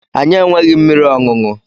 Anyị enweghị mmiri ọṅụṅụ.